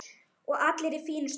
Og allir í fínu stuði.